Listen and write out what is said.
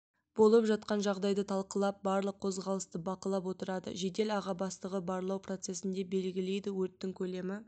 болып жатқан жағдайды талқылап барлық қозғалысты бақылап отырады жедел аға бастығы барлау процесінде белгілейді өрттің көлемі